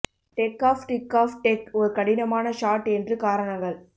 tech ஆஃப் டிக் ஆஃப் டெக் ஒரு கடினமான ஷாட் என்று காரணங்கள்